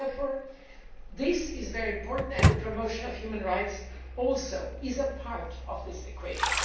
Therefore, this is very important, and the promotion of human rights is also a part of this equation.